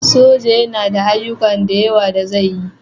Soja yana da ayyuka da yawa da zai yi